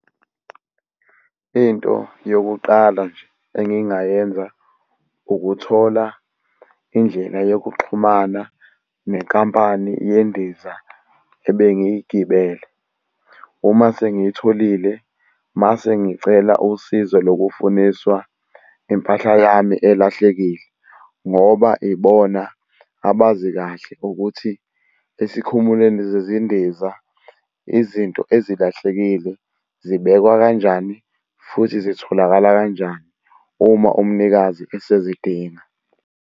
Into yokuqala nje engingayenza, ukuthola indlela yokuxhumana nenkampani yendiza ebengiyigibele. Uma sengiyitholile, mase ngicela usizo lokufuniswa impahla yami elahlekile, ngoba ibona abazi kahle ukuthi esikhumulweni sezindiza izinto ezilahlekile zibekwa kanjani futhi zitholakala kanjani uma umnikazi esezidinga.